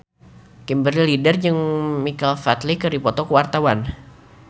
Kimberly Ryder jeung Michael Flatley keur dipoto ku wartawan